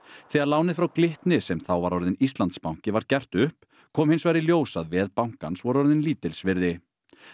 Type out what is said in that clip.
þegar lánið frá Glitni sem þá var orðinn Íslandsbanki var gert upp kom hins vegar í ljós að veð bankans voru orðin lítils virði